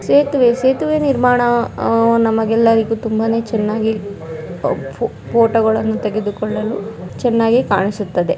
ಸೇತುವೇ ಸೇತುವೆ ನಿರ್ಮಾಣ ನಮಗೆ ಎಲ್ಲರಿಗೂ ತುಂಬಾನೇ ಫೋ-ಫೋ-ಫೋಟೋಗಳನ್ನು ತೆಗೆದು ಕೊಳ್ಳಲು ಚನ್ನಾಗಿ--